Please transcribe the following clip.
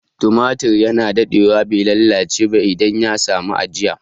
Tumatur ya na daɗewa bai lalace ba idan ya sami ajiya